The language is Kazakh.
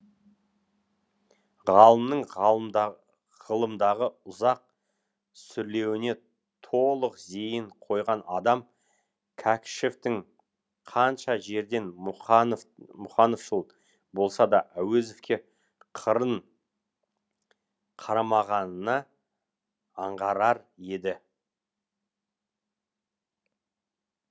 ғалымның ғылымдағы ұзақ сүрлеуіне толық зейін қойған адам кәкішевтің қанша жерден мұқановшыл болса да әуезовке қырын қарамағанына аңғарар еді